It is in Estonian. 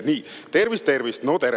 Nii: "Tervist-tervist!